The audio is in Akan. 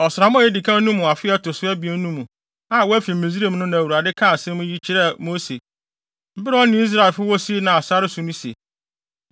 Ɔsram a edi kan no mu afe a ɛto so abien no mu a wɔafi Misraim no na Awurade kaa saa asɛm yi kyerɛɛ Mose bere a ɔne Israelfo wɔ Sinai sare no so no se,